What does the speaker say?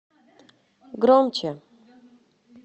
громче